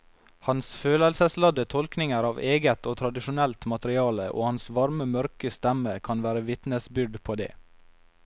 Hans følelsesladde tolkninger av eget og tradisjonelt materiale og hans varme mørke stemme kan være vitnesbyrd på det.